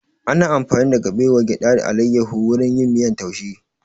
Ana amfani da kabewa, gyada da alayahu wurin yin miyan taushe